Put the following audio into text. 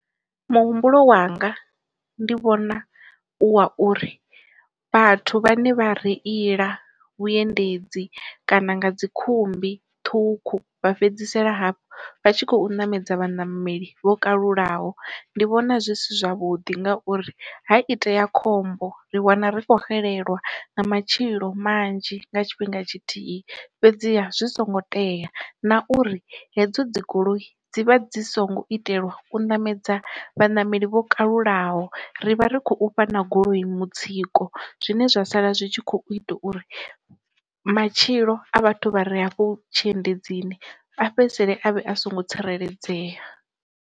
Muhumbulo wanga ndi vhona u wa uri, vhathu vhane vha reila vhuendedzi kana nga dzi khumbi ṱhukhu vha fhedzisela hafhu vha tshi khou ṋamedza vhaṋameli vho kalulaho, ndi vhona zwi si zwavhuḓi ngauri ha itea khombo ri wana ri khou xelelwa nga matshilo manzhi nga tshifhinga tshithihi fhedziha zwi songo tea na uri hedzo dzi goloi, dzivha dzi songo itelwa u ṋamedza vha ṋameli vho kalulaho, ri vha ri khou ufha na goloi mutsiko zwine zwa sala zwi tshi khou ita uri matshilo a vhathu vha re afho tshi endedzini a fhedzisele avhe a songo tsireledzea.